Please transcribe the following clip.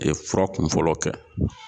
A ye fura kunfɔlɔ kɛ